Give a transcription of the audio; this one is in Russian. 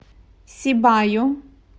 сибаю